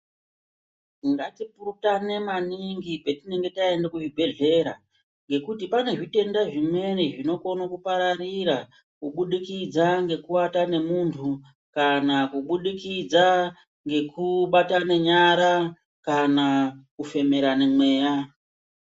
Ngatipurutane maningi petinonga taenda kuzvibhedhlera ngekuti pane zvitenda zvimweni zvinokona kupararira kubudikidza ngekuata nemunhu kana kubudikidza ngekubatane nyara kana kufemerana mweya.